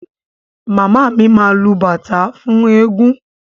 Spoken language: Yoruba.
Màmá mi máa lu bàtá fún ẹẹ́gun.